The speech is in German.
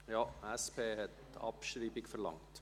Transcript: (– Ja, die SP hat Abschreibung verlangt.